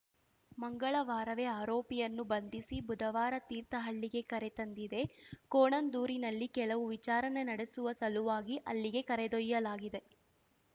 ಮಂಗಳವಾರವೇ ಆರೋಪಿಯನ್ನು ಬಂಧಿಸಿ ಬುಧವಾರ ತೀರ್ಥಹಳ್ಳಿಗೆ ಕರೆತಂದಿದೆ ಕೋಣಂದೂರಿನಲ್ಲಿ ಕೆಲವು ವಿಚಾರಣೆ ನಡೆಸುವ ಸಲುವಾಗಿ ಅಲ್ಲಿಗೆ ಕರೆದೊಯ್ಯಲಾಗಿದೆ